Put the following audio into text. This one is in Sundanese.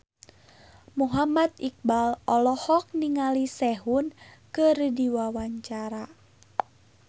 Muhammad Iqbal olohok ningali Sehun keur diwawancara